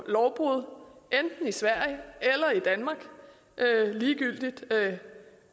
lovbrud enten i sverige eller i danmark ligegyldigt